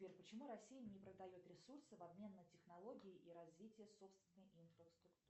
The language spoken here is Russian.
сбер почему россия не продает ресурсы в обмен на технологии и развитие собственной инфраструктуры